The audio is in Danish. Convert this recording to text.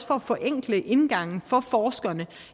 for at forenkle indgangen for forskerne